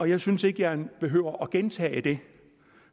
jeg synes ikke jeg behøver at gentage det